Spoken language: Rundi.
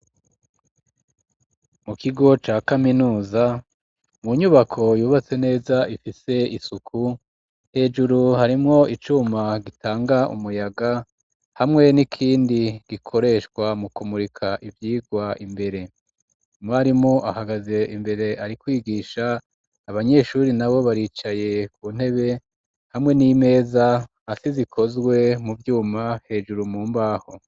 Mu kigo ca kaminuza mu nyubako yubatse neza ifise isuku hejuru harimwo icuma gitanga umuyaga hamwe n'ikindi gikoreshwa mu kumurika ibyigwa imbere imarimu ahagaze imbere ari kwigisha abanyeshure na bo baricaye ku ntebe hamwe n'imeza asi zikozwe mu byuma hejuru mu mbaho.